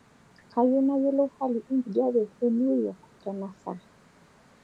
kayieu nayilou hali enkijape enew york tenaa saa